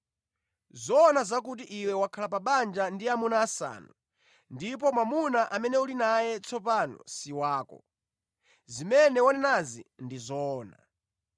Zoona nʼzakuti iwe wakhala pa banja ndi amuna asanu, ndipo mwamuna amene uli naye tsopano si wako. Zimene wanenazi ndi zoona.”